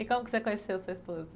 E como você conheceu sua esposa?